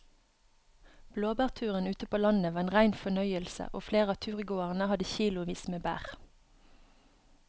Blåbærturen ute på landet var en rein fornøyelse og flere av turgåerene hadde kilosvis med bær.